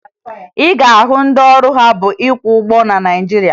Ị ga-ahụ ndị ọrụ ha bụ ịkwọ ụgbọ na Naịjirịa